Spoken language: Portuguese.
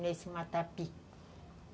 Nesse matapi.